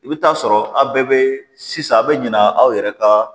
I bɛ taa sɔrɔ aw bɛɛ bɛ sisan a' bɛ ɲina aw yɛrɛ ka